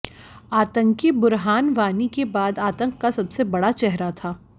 आतंकी बुरहान वानी के बाद आतंक का सबसे बड़ा चेहरा था